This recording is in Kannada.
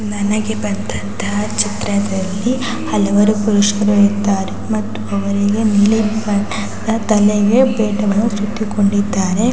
ನನಗೆ ಬಂದಂತಹ ಚಿತ್ರದಲ್ಲಿ ಹಲವರು ಪುರುಷರು ಇದ್ದಾರೆ ಮತ್ತು ಅವರಿಗೆ ನೀಲಿ ಬಣ್ಣದ ತಲೆಗೆ ಪೇಟವನ್ನು ಸುತ್ತಿಕೊಂಡಿದ್ದಾರೆ .